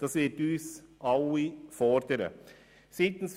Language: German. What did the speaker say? Dadurch werden wir alle gefordert sein.